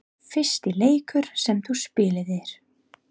Fyrsti leikur sem þú spilaðir?